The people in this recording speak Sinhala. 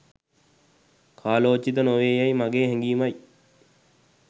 කාලෝචිත නොවේ යැයි මගේ හැගීමයි